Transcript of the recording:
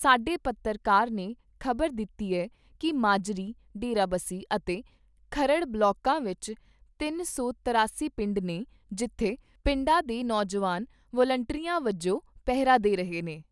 ਸਾਡੇ ਪੱਤਰਕਾਰ ਨੇ ਖ਼ਬਰ ਦਿੱਤੀ ਏ ਕਿ ਮਾਜਰੀ, ਡੇਰਾਬੱਸੀ ਅਤੇ ਖਰੜ ਬਲਾਕਾਂ ਵਿਚ ਤਿੰਨ ਸੌ ਤਰਿਆਸੀ ਪਿੰਡ ਨੇ ਜਿੱਥੇ ਪਿੰਡਾਂ ਦੇ ਨੌਜਵਾਨ ਵਲੰਟੀਅਰਾਂ ਵੱਜੋਂ ਪਹਿਰਾ ਦੇ ਰਹੇ ਨੇ।